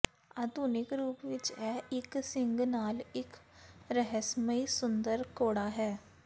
ਆਧੁਨਿਕ ਰੂਪ ਵਿਚ ਇਹ ਇਕ ਸਿੰਗ ਨਾਲ ਇਕ ਰਹੱਸਮਈ ਸੁੰਦਰ ਘੋੜਾ ਹੈ